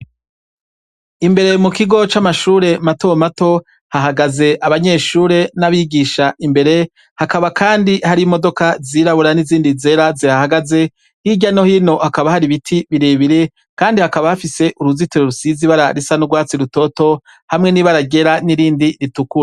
Imbere mu kigo c'amashure matomato, hahagaze abanyeshure n'abigisha imbere, hakaba kandi hari imodoka zirabura n'izindi zera zihahagaze, hirya no hino hakaba hari ibiti birebire, kandi hakaba hafise uruzitiro rusize ibara risa n'urwatsi rutoto, hamwe n'ibara ryera n'irindi ritukura.